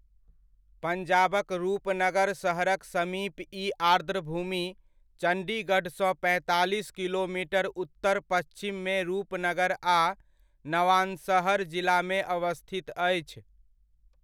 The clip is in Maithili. पंजाबक रूपनगर शहरक समीप ई आर्द्रभूमि, चंडीगढ़ सँ पैंतालीस किलोमीटर उत्तर पच्हिममे रूपनगर आ नवांशहर जिलामे अवस्थित अछि।